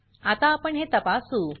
आता आपण हे तपासू